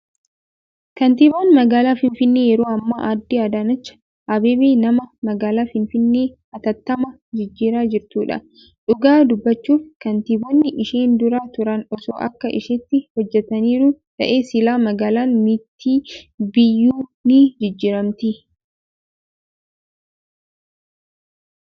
Kantiibaan magaalaa Finfinnee yeroo ammaa aaddee Adaanech Abeebe nama magaalaa Finfinnee hatattamaan jijjiiraa jirtudha. Dhugaa dubbachuuf kantiibonni isheen dura turan osoo akka isheetti hojjataniiru ta'ee silaa magaalaan mitii biyyiyyuu ni jijjiiramti.